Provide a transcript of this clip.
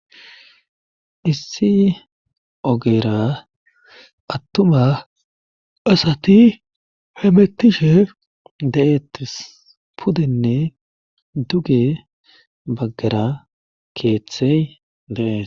Issi ogeera attuma asati hemettishe de'eettis pudenne duge baggara keeththey dee.